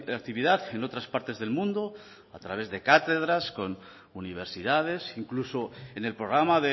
actividad en otras partes del mundo a través de cátedras con universidades incluso en el programa